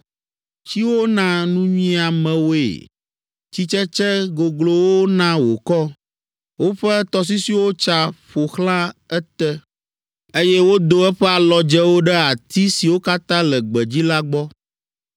Tsiwo na nunyiamewoe, tsitsetse goglowo na wòkɔ, woƒe tɔsisiwo tsa ƒo xlã ete, eye wodo eƒe alɔdzewo ɖe ati siwo katã le gbedzi la gbɔ.